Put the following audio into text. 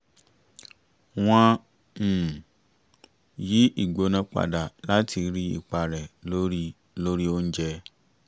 wọ́n um yí ìgbóná padà láti rí ipa rẹ̀ lórí lórí oúnjẹ